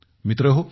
मित्रहो